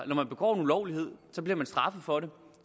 man begår en ulovlighed bliver man straffet for det